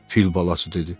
fil balası dedi.